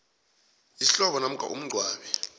isihlobo namkha umngcwabi